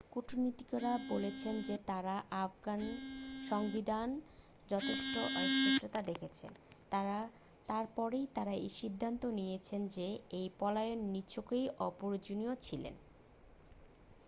কূটনীতিকেরা বলেছেন যে তাঁরা আফগান সংবিধানে যথেষ্ট অস্পষ্টতা দেখেছেন তার পরেই তাঁরা এই সিদ্ধান্ত নিয়েছেন যে এই পলায়ন নিছকই অপ্রয়োজনীয় ছিল